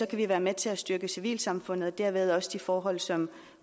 kan vi være med til at styrke civilsamfundet og dermed også de forhold som